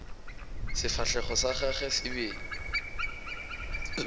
sefahlego sa gagwe se be